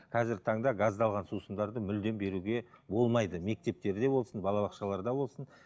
қазіргі таңда газдалған сусындарды мүлдем беруге болмайды мектептерде болсын балабақшаларда болсын